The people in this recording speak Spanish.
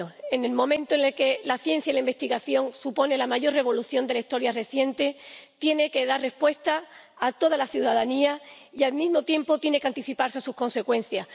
En el momento en el que la ciencia y la investigación suponen la mayor revolución de la historia reciente, Horizonte Europa tiene que dar respuesta a toda la ciudadanía y al mismo tiempo tiene que anticiparse a sus consecuencias.